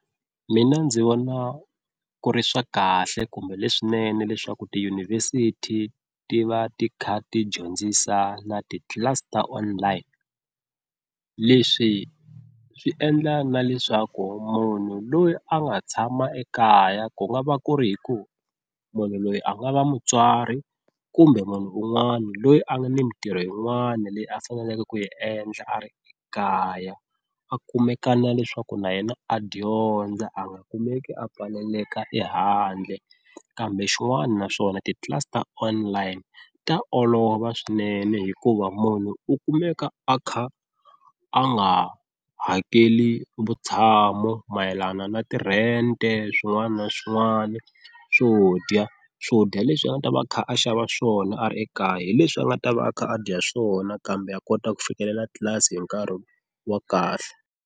Mina ndzi vona ku ri swa kahle kumbe leswinene leswaku tiyunivhesiti ti va ti kha ti dyondzisa na titlilasi ta online. Leswi swi endla na leswaku munhu loyi a nga tshama ekaya ku nga va ku ri hi ku munhu loyi a nga va mutswari kumbe munhu un'wana loyi a nga ni mintirho yin'wana leyi a faneleke ku yi endla a ri ekaya a kumekaka na leswaku na yena a dyondza a nga kumeki a pfaleleka ehandle. Kambe xin'wana naswona titlilasi ta online ta olova swinene hikuva munhu u kumeka a kha a nga hakeli vutshamo mayelana na ti-rent swin'wana na swin'wana swo dya swo dya leswi a nga ta va a kha a xava swona a ri ekaya hi leswi a nga ta va a kha a dya swona kambe a kota ku fikelela tlilasi hi nkarhi wa kahle.